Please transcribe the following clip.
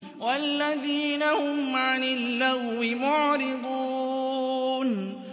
وَالَّذِينَ هُمْ عَنِ اللَّغْوِ مُعْرِضُونَ